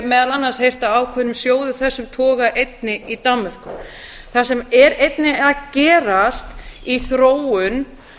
meðal annars heyrt af ákveðnum sjóði af þessum toga einnig í danmörku það sem er einnig að gerast í þróun